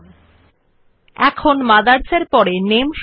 again right click on the mouse and click on the paste option